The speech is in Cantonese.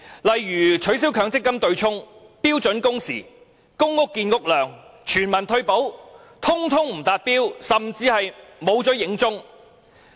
例如取消強積金對沖機制、標準工時、公屋建屋量、全民退休保障，全部都不達標，甚至沒有影蹤。